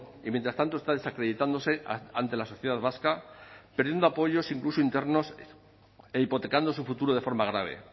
y mientras tanto está desacreditándose ante la sociedad vasca perdiendo apoyos incluso internos e hipotecando su futuro de forma grave